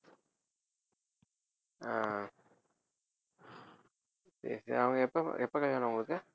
ஆஹ் சரி சரி அவங்க எப்ப எப்ப கல்யாணம் அவங்களுக்கு